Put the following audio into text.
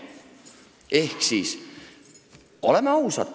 " Ehk siis, oleme ausad.